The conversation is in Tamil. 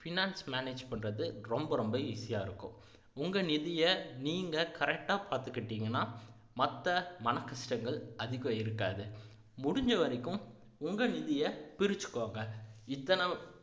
finance manage பண்றது ரொம்ப ரொம்ப easy ஆ இருக்கும் உங்க நிதியை நீங்க correct ஆ பாத்துகிட்டீங்கன்னா மத்த மனக்கஷ்டங்கள் அதிகம் இருக்காது முடிஞ்சவரைக்கும் உங்க நிதியை பிரிச்சுக்கோங்க இத்தனை